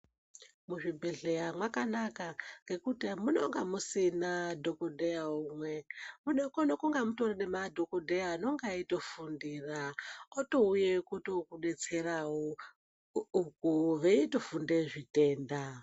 Muzvibhedhlera mwakanaka ngekuti munenge musina dhokodheya umwe munokona kunge mune madhokodheya anenge eitofundira atouya kutodetserawo uko veitofunda zvitenda.